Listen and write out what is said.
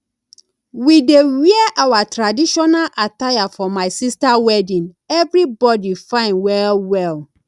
we dey wear our traditional attire for my sister wedding everybody fine well well